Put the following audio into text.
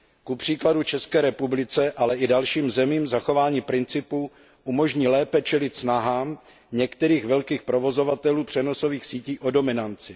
Kupříkladu České republice, ale i dalším zemím zachování principu umožní lépe čelit snahám některých velkých provozovatelů přenosových sítí o dominanci.